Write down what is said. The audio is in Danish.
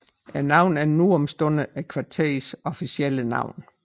Navnet er nu om stunder kvarterets officielle navn